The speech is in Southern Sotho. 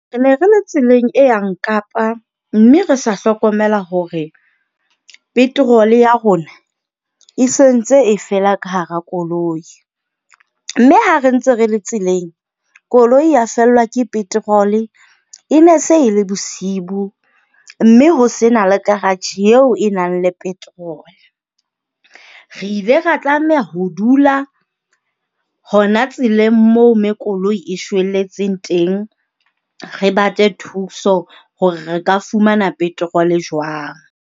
Ne re le tseleng e yang Kapa, mme re sa hlokomela hore petrol-e ya rona e se ntse e fela ka hara koloi. Mme ha re ntse re le tseleng, koloi ya fellwa ke petrol-e. E ne se e le bosibu mme ho se na le karatjhe eo e nang le petrol-e. Re ile ra tlameha ho dula hona tseleng moo me koloi e shwelletseng teng. Re batle thuso hore re ka fumana petrol-e jwang.